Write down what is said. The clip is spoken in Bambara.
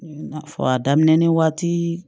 I n'a fɔ a daminɛ ni waati